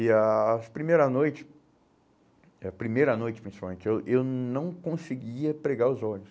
E a as primeira noite, a primeira noite principalmente, eu eu não conseguia pregar os olhos.